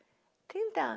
trinta